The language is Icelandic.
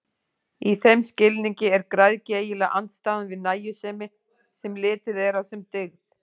Í þeim skilningi er græðgi eiginlega andstæðan við nægjusemi, sem litið er á sem dygð.